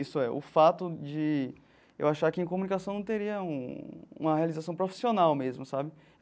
Isso é, o fato de eu achar que em comunicação não teria um uma realização profissional mesmo, sabe?